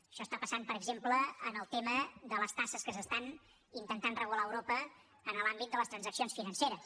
això està passant per exemple en el tema de les taxes que s’estan intentant regular a europa en l’àmbit de les transaccions financeres